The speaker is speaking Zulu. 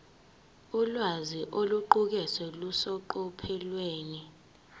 ulwazi oluqukethwe luseqophelweni